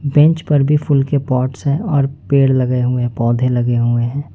Bench पर भी फूल के पॉट्स हैं और पेड़ लगे हुए पौधे लगे हुए हैं।